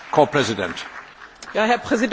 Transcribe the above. Herr Präsident, meine Damen und Herren!